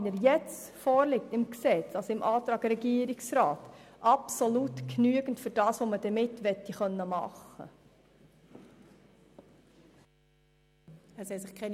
Wir finden Artikel 57a im Antrag des Regierungsrats absolut ausreichend für das, was man damit machen möchte.